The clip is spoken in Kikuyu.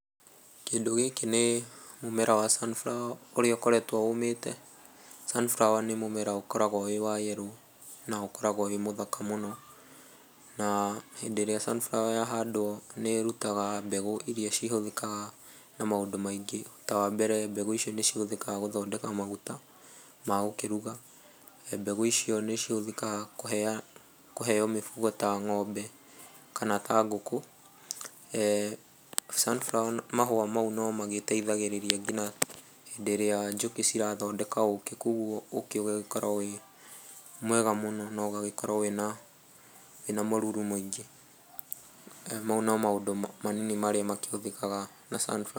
Kĩndũ gĩkĩ nĩ mũmera wa sunflower ũrĩa ũkoretwo ũmĩte. sunflower nĩ mũmera ũkoragwo wĩ wa yellow na ũkoragwo wĩ mũthaka mũno na hĩndĩ ĩrĩa sunflower yahandwo nĩ ĩrutaga mbegũ iria cihũthĩkaga na maũndũ maingĩ ta wa mbere mbegũ icio nĩ cihũthĩkaga gũthondeka maguta ma gũkĩruga, mbegũ icio nĩ cihũthĩkaga kũheo mifugo ta ngómbe kana ta ngũkũ, eh sunflower mahũa mau no magĩteithagĩrĩria nginya hĩndĩ ĩrĩa njũkĩ cirathondeka ũkĩ koguo ũkĩ ugagĩkorwo ũrĩ mwega mũno na ũgagĩkorwo ũrĩ mũruru mũingĩ. Mau no maũndũ manini marĩa makĩhũthĩkaga na sunflower